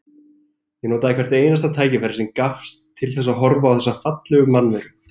Ég notaði hvert einasta tækifæri sem gafst til þess að horfa á þessa fallegu mannveru.